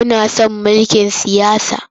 Muna son mulkin siyasa.